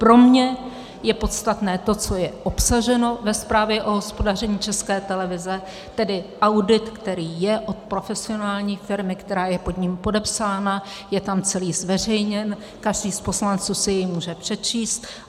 Pro mě je podstatné to, co je obsaženo ve zprávě o hospodaření České televize, tedy audit, který je od profesionální firmy, která je pod ním podepsána, je tam celý zveřejněn, každý z poslanců si jej může přečíst.